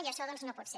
i això doncs no pot ser